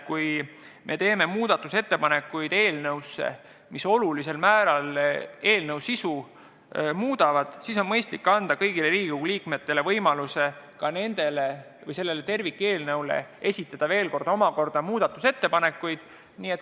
Kui me teeme eelnõu muutmiseks ettepanekud, mis olulisel määral eelnõu sisu muudavad, siis on mõistlik anda kõigile Riigikogu liikmetele võimalus ka tervikeelnõu kohta muudatusettepanekuid esitada.